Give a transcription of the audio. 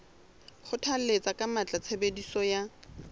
kgothalletsa ka matla tshebediso ya